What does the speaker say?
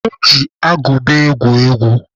Ọ ji agụba egwu egwu.